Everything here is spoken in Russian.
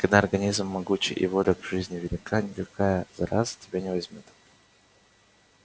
когда организм могучий и воля к жизни велика никакая зараза тебя не возьмёт